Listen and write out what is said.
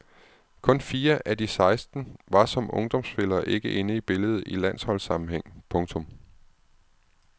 Kun fire af de seksten var som ungdomsspillere ikke inde i billedet i landsholdssammenhæng. punktum